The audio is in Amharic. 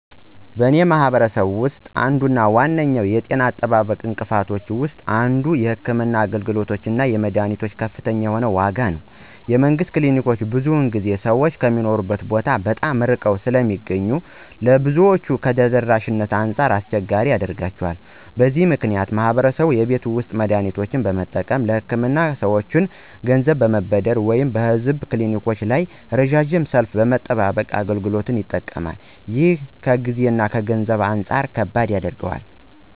በእኔ ማህበረሰብ ውስጥ አንዱ እና ዋነኛው የጤና አጠባበቅ እንቅፋቶች ውስጥ አንዱ የሕክምና አገልግሎቶች እና የመድኃኒቶች ከፍተኛ የሆነ ዋጋ ነው። የመንግስት ክሊኒኮች ብዙውን ጊዜ ሰዎች ከሚኖሩበት ቦታ በጣም ርቀው ስለሚገኙ ለብዙዎች ከተደራሽነት አንጻር አስቸጋሪ ያደርጋቸዋል። በዚህ ምክንያት ማህበረሰቡ የቤት ውስጥ መድሃኒቶችን በመጠቀም፣ ለህክምና ከሰወች ገንዘብ በመበደር ወይም በህዝብ ክሊኒኮች ላይ ረዣዥም ሰልፍ በመጠባበቅ አገልግሎቱ ይጠቀማል። ይህም ከጊዜ እና ከገንዘብ አንጻር ከባድ ያደርገዋል።